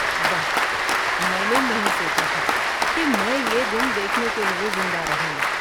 واہ، میں نے نہیں سوچا تھا کہ میں یہ دن دیکھنے کے لیے زندہ رہوں گا۔